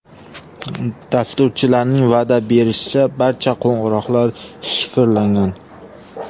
Dasturchilarning va’da berishicha, barcha qo‘ng‘iroqlar shifrlangan.